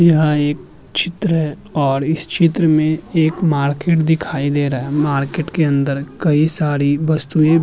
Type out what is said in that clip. यह एक चित्र है और इस चित्र में एक मार्केट दिखाई दे रहा है। मार्केट के अंदर कई सारी वस्तुएं --